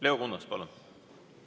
Leo Kunnas, palun!